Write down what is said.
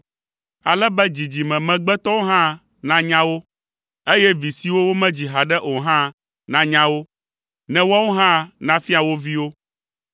ale be dzidzime megbetɔwo hã nanya wo, eye vi siwo womedzi haɖe o hã nanya wo, ne woawo hã nafia wo viwo.